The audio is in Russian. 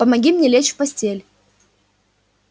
помоги мне лечь в постель